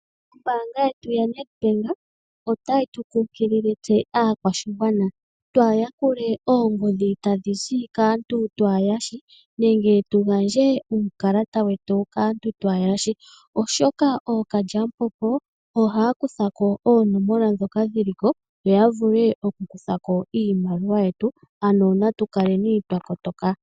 Ombaanga yetu yoNEDBANK otayi tu kunkilile tse aakwashigwana twaha yakule oongodhi tadhi zi kaantu twaa he yashi nenge tu gandje uukalata wetu kaantu twahe yashi, oshoka ookalyamupombo ohaya kutha ko oonomola ndhoka dhili ko, yo ya vule oku kutha ko iimaliwa yetu ano natu kaleni twa kotoka.